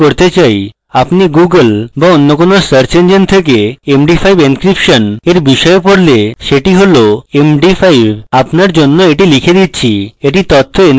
আপনি google বা any কোনো search engine থেকে md5 encryption এর বিষয়ে পড়লে let হল m d 5 আপনার জন্য এটি লিখে দিচ্ছি এটি তথ্য encryption করার খুব উপযোগী পদ্ধতি